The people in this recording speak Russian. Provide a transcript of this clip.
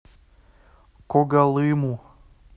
когалыму